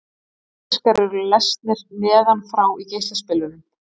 Geisladiskar eru lesnir neðan frá í geislaspilurum.